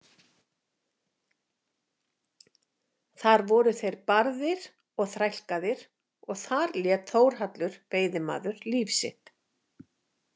Þar voru þeir barðir og þrælkaðir og þar lét Þórhallur veiðimaður líf sitt.